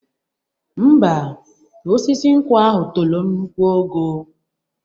Ḿbà, osisi nkwụ ahu tolo nnukwu ogo.